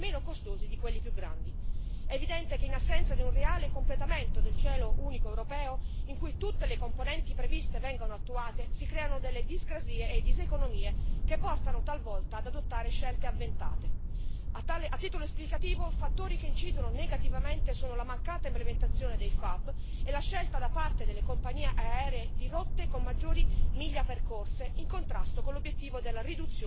È evidente che, in assenza di un reale completamento del cielo unico europeo, in cui tutte le componenti previste vengono attuate, si creano delle discrasie e diseconomie che portano, talvolta, ad adottare scelte avventate. A titolo esplicativo, fattori che incidono negativamente sono la mancata implementazione dei FAB e la scelta da parte delle compagnie aeree di rotte con maggiori miglia percorse, in contrasto con l'obiettivo della riduzione dell'inquinamento atmosferico.